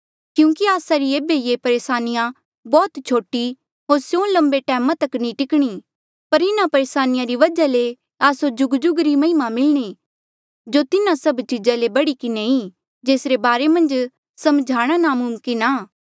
क्यूंकि आस्सा री ऐबे री ये परेसानिया बौह्त छोटी होर स्यों लम्बे टैमा तक नी टिकणी पर इन्हा परेसानिया री वजहा ले आस्सो जुगजुग री महिमा मिलणी जो तिन्हा सब चीज़ा ले बढ़ी किन्हें ई जेसरे बारे मन्झ समझाणा नामुमकिन आ